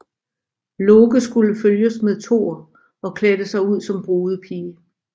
Loke skulle følges med Thor og klædte sig ud som brudepige